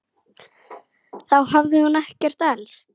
Þá hafði hún ekkert elst.